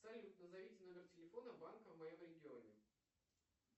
салют назовите номер телефона банка в моем регионе